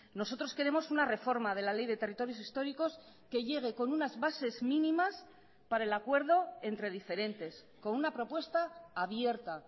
nosotros queremos una reforma de la ley de territorios históricos que llegue con unas bases mínimas para el acuerdo entre diferentes con una propuesta abierta